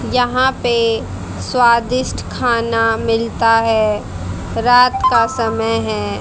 यहां पे स्वादिष्ट खाना मिलता है। रात का समय है।